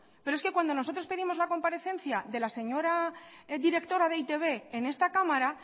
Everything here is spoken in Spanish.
pero es que cuando nosotros pedimos la comparecencia de la señora directora de e i te be en esta cámara